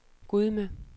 Gudme